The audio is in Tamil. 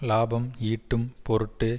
இலாபம் ஈட்டும் பொருட்டு